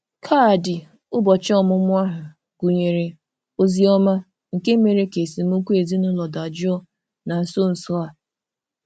Kaadị ụbọchị ọmụmụ ahụ gụnyere ozi ọma nke mere ka esemokwu ezinụlọ dajụọ na nso nso a.